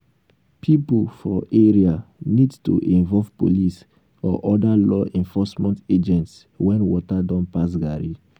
pipo for area need to involve police or oda law enforcement agents when water don pass garri